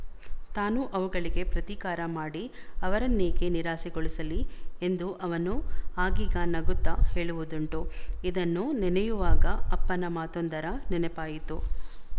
ತಾನೂ ಅವುಗಳಿಗೆ ಪ್ರತೀಕಾರ ಮಾಡಿ ಅವರನ್ನೇಕೆ ನಿರಾಸೆಗೊಳಿಸಲಿ ಎಂದು ಅವನು ಆಗೀಗ ನಗುತ್ತ ಹೇಳುವುದುಂಟು ಇದನ್ನು ನೆನೆಯುವಾಗ ಅಪ್ಪನ ಮಾತೊಂದರ ನೆನಪಾಯಿತು